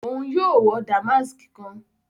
Òún yóò wọ damask kán